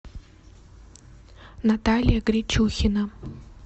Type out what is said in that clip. наталья гричухина